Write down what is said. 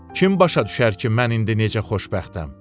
Kim başa düşər ki, mən indi necə xoşbəxtəm?